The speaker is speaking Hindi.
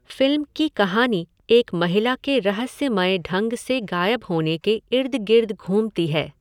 फिल्म की कहानी एक महिला के रहस्यमय ढंग से गायब होने के इर्द गिर्द घूमती है।